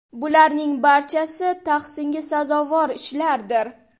Bularning barchasi tahsinga sazovor ishlardir.